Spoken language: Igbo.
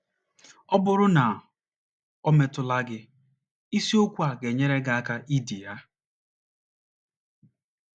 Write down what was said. Ọ bụrụ na o metụla gị, isiokwu a ga - enyere gị aka idi ya.